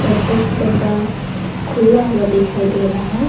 एक डब्बा खुल्ला हुआ दिखाई दे रहा है।